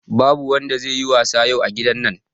Babu wanda zai yi wasa yau a gidan nan